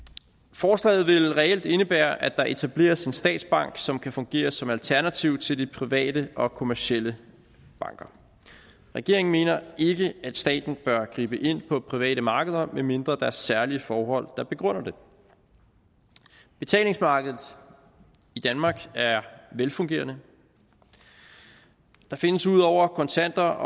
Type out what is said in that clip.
forslaget vil reelt indebære at der etableres en statsbank som kan fungere som alternativ til de private og kommercielle banker regeringen mener ikke at staten bør gribe ind på private markeder medmindre der er særlige forhold der begrunder det betalingsmarkedet i danmark er velfungerende der findes ud over kontanter